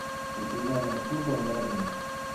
ветеринарная служба номер один